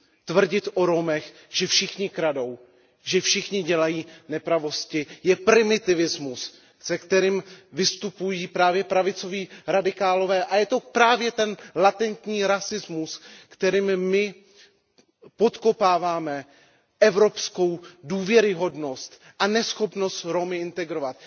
Tvrdit o Romech, že všichni kradou, že všichni dělají nepravosti, je primitivismus, se kterým vystupují právě pravicoví radikálové a je to právě ten latentní rasismus, kterým my podkopáváme evropskou důvěryhodnost a neschopnost Romy integrovat.